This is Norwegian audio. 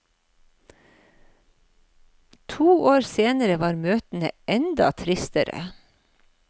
To år senere var møtene enda tristere.